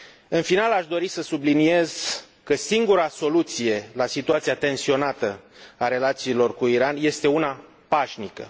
În final, aș dori să subliniez că singura soluție la situația tensionată a relațiilor cu Iran este una pașnică.